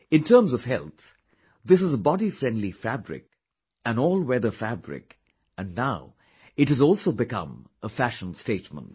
In terms of health, this is a body friendly fabric, an all weather fabric and now it has also become a fashion statement